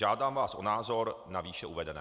Žádám vás o názor na výše uvedené.